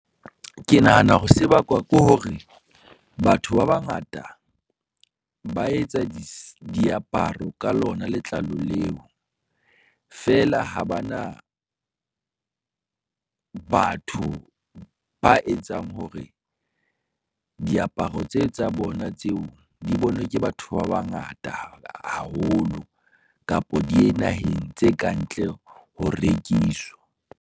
Ke nahana hore se bakwa ke hore batho ba bangata ba etsa diaparo ka lona letlalo leo, feela ha ba na, batho ba etsang hore diaparo tse tsa bona tseo di bonwe ke batho ba bangata, haholo kapo diye naheng tse kantle ho rekiswa.